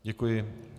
Děkuji.